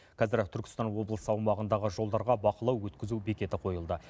қазір түркістан облысы аумағындағы жолдарға бақылау өткізу бекеті қойылды